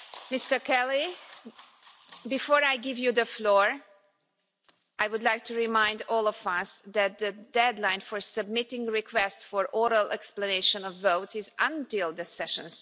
Mr Kelly, before I give you the floor, I would like to remind all of us that the deadline for submitting requests for oral explanations of vote is the start of the session.